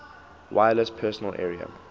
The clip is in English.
wireless personal area